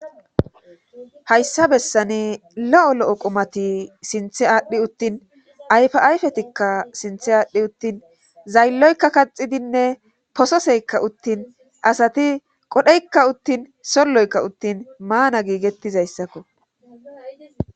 hayssa bessane lo7o lo7o qomati sinthe aadhdhi uttin ayfayfetikka sinth aadhdhi uttin zaylloykka kaxidinne pososeykka uttin asati qodheykka uttin solloykka uttin maana giigettizayssakko